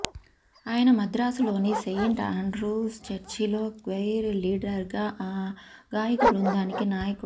ఆయన మద్రాసులోని Saint Andrew's చర్చిలో క్వైర్ లీడర్గా ఆ గాయక బృందానికి నాయకుడు